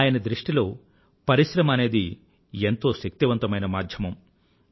ఆయన దృష్టిలో పరిశ్రమ అనేది ఎంతో శక్తివంతమైన మాధ్యమం